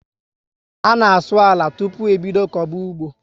A na asụ àlà tupu e bídó koba ụgbọ